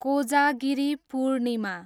Kojagiri Purnima